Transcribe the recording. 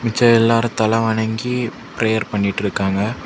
ச்ச எல்லாரும் தல வணங்கி பிரேயர் பண்ணிட்டு இருக்காங்க.